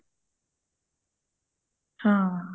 ਹਾਂ